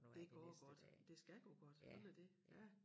Det går godt det skal gå godt sådan er det ja